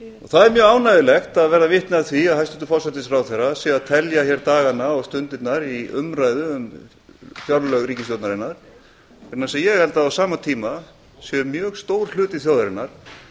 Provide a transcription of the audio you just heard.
það er mjög ánægjulegt að verða vitni að því að hæstvirtur forsætisráðherra telji hér dagana og stundirnar í umræðu um fjárlög ríkisstjórnarinnar vegna þess að ég held að á sama tíma sé mjög stór hluti þjóðarinnar